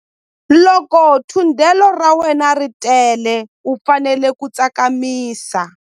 Loko thundelo ra wena ri tele u fanele ku tsakamisa.